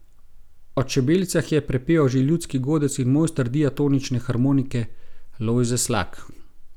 O čebelicah je prepeval že ljudski godec in mojster diatonične harmonike Lojze Slak.